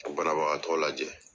banabagatɔ lajɛ